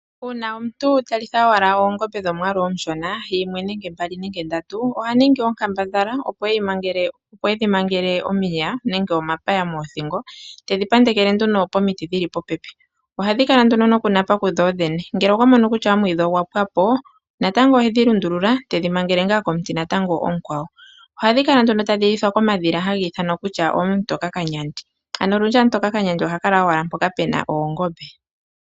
Uuna omuntu talitha owala oongombe dhomwaalu omushona, yimwe nenge mbali nenge ndatu, oha ningi onkambadhala opo edhi mangele omiya nenge omapaya moothingo, tedhi pandekele nduno pomiti dhili popepi. Ohadhi kala nduno nokunapa ku dho dhene. Ngele okwa mono kutya omwiidhi ogwa pwa po, natango ohe dhi lundulula, tedhi mangele ngaa komuti natango omukwawo. Ohadhi kala nduno tadhi lithwa komadhila haga ithanwa kutya ooAmutoka Kanyandi. Ano olundji ooAmutoka Kanyandi oha kala owala mpoka pu na oongombe.